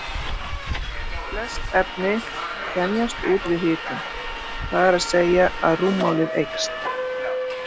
Það hefur því verið þekkt en sennilega lotið í lægra haldi fyrir felmtri.